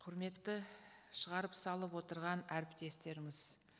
құрметті шығарып салып отырған әріптестеріміз